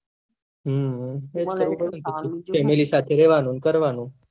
હમ family સાથે રેહવાનું ને કરવાનું